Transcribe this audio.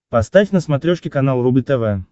поставь на смотрешке канал рубль тв